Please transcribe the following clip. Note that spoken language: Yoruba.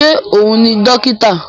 Ṣé òun ni dókítà?